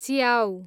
च्याउ